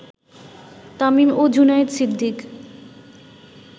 তামিম ও জুনায়েদ সিদ্দিক